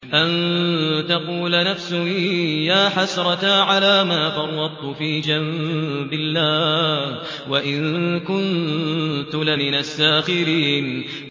أَن تَقُولَ نَفْسٌ يَا حَسْرَتَا عَلَىٰ مَا فَرَّطتُ فِي جَنبِ اللَّهِ وَإِن كُنتُ لَمِنَ السَّاخِرِينَ